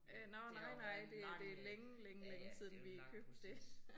Øh det har jo været en lang øh ja ja det jo en lang proces